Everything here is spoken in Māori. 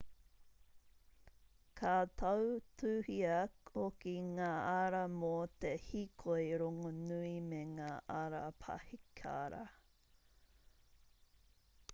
ka tautuhia hoki ngā ara mō te hīkoi rongonui me ngā ara paihikara